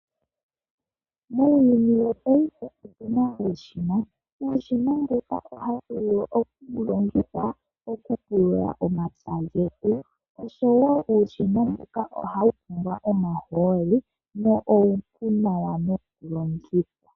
Muuyuni wopaife otu na uushina, uushina mbuka ohawu vulu okulongithwa, okupulula omapya getu. Osho woo uushina mbuka ohawu pumbwa omahooli na uupu nawa nokulongitha.